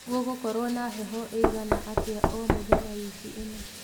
gũgũkorwo na heho iigana atĩa o mũthenya wiki ino